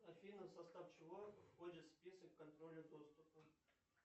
афина в состав чего входит список контроля доступа